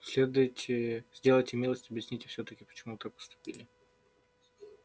сделайте милость объясните всё-таки почему вы так поступили